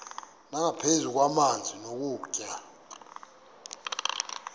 nangaphezu kwamanzi nokutya